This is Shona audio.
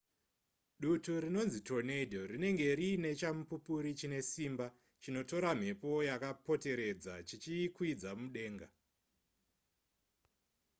dutu rinonzi tornado rinenge riine chamupupuri chine simba chinotora mhepo yakapoteredza chichiikwidza mudenga